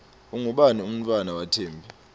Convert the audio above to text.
ungubani umntfwana wathembi